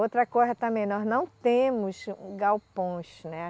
Outra coisa também, nós não temos galpões, né?